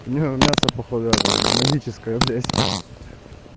у неё мясо походу эта магическая блять